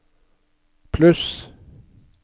pluss